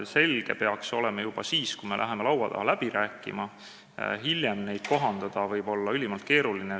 Selge peaks see olema juba siis, kui me läheme laua taha läbi rääkima, hiljem võib direktiive kohandada olla ülimalt keeruline.